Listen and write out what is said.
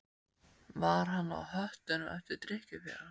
Var hann á höttunum eftir drykkjufélaga?